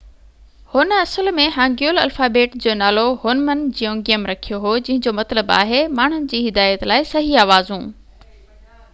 هن اصل ۾ Hangul alphabet جو نالو هُنمن جيونگيم رکيو هو جنهن جو مطلب آهي ماڻهن جي هدايت لاءِ صحيح آوازون